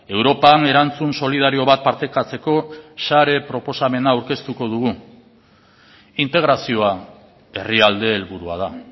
europan erantzun solidario bat partekatzeko share proposamena aurkeztuko dugu integrazioa herrialde helburua da